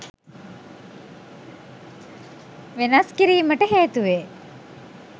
වෙනස් කිරීමට හේතුවේ.